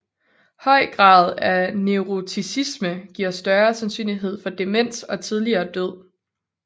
Høj grad af neuroticisme giver større sandsynlighed for demens og tidligere død